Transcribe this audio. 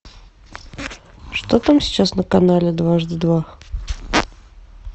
что там сейчас на канале дважды два